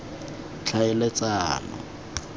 tlhaeletsano